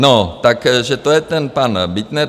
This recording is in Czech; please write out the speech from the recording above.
No takže to je ten pan Bittner.